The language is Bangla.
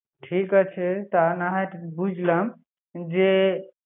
ঠিক আছে তা না হয় বুঝলাম